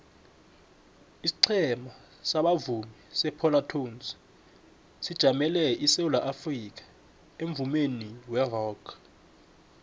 isiqhema sabavumi separlatones sijamele isewula afrikha emvumeni werock